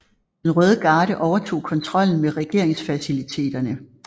Den Røde Garde overtog kontrollen med regeringsfaciliteterne